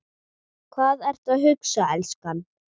Hvað ertu að hugsa, elskan?